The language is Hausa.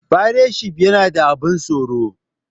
Fairetshif yana da abun tsoro